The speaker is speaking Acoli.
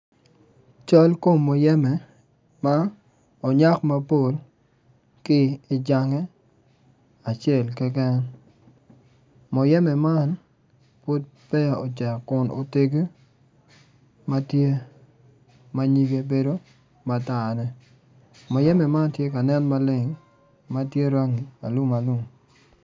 Cal kom muyembe ma onyak mapol ki i jange acel keken muyembe amn ocek mutegi ma tye nyige bedo matarne muyebe man tye ka nen maleng ma obedo rangi alumalum.